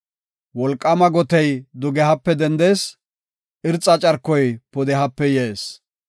Wolqaama gotey dugehape dendees; irxa carkoy pudehape yees.